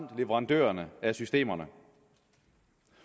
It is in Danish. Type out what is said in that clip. og leverandørerne af systemerne